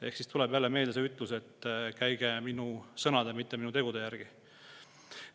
Ehk siis tuleb jälle meelde see ütlus, et käige minu sõnade, mitte minu tegude järgi.